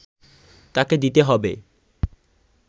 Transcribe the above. তাকে দিতে হবে